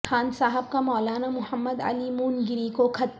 خان صاحب کا مولانا محمد علی مونگیری کو خط